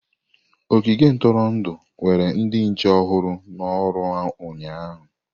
Ogige ntụrụndụ were ndị nche ọhụrụ n'oru ụnyahụ.